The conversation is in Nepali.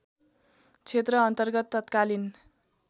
क्षेत्र अन्तर्गत तत्कालीन